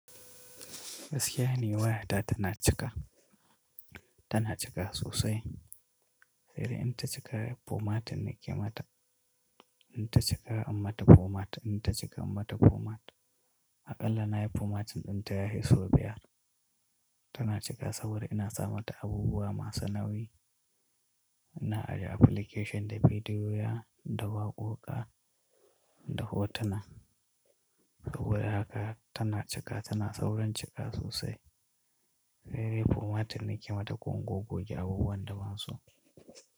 Gaskiya ni wayata tana cika, tana cika sosai. Sai dai in ta cika formatin ne ke mata. In ta cika imma ta format, in ta cika imma ta format. Aƙalla na yi formatin ɗin ta ya hisso biyar. Tana cika saboda ina sa mata abubuwa masu nauyi. Ina ajiye application da bidiyoyina da waƙoƙa da hotuna. Saboda haka tana cika, tana saurin cika sosai. Sai dai formatin nake mata ko in gog-goge abubuwan da ban so.